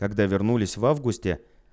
когда вернулись в августе